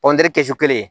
kɛ kɛsu kelen